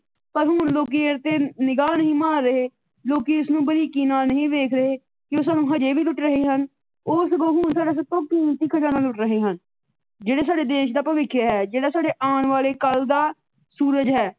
ਪਰ ਹੁਣ ਲੋਕੀ ਇਹਤੇ ਨਿਗਾ ਨਹੀ ਮਾਰ ਰਹੇ । ਲੋਕੀ ਇਸ ਨੂੰ ਬਰੀਕੀ ਨਾਲ ਨਹੀ ਵੇਖ ਰਹੇ ਕੀ ਸਾਨੂੰ ਉਹ ਹਜੇ ਵੀ ਲੁੱਟ ਰਹੇ ਹਨ। ਉਹ ਹੁਣ ਸਗੋ ਸਾਡਾ ਸਭ ਤੋਂ ਕੀਮਤੀ ਖਜਾਨਾ ਲੁੱਟ ਰਹੇ ਹਨ। ਜਿਹੜੇ ਸਾਡੇ ਦੇਸ਼ ਦਾ ਭਵਿੱਖ ਹੈ ਜਿਹੜਾ ਸਾਡੇ ਆਣ ਵਾਲੇ ਕੱਲ ਦਾ ਸੂਰਜ ਹੈ।